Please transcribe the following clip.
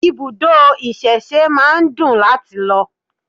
Ibùdó ìsẹ̀se máa ń dùn láti lọ